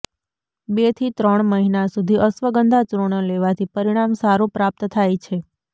બે થી ત્રણ મહિના સુધી અશ્વગંધા ચૂર્ણ લેવાથી પરિણામ સારુ પ્રાપ્ત થાય છે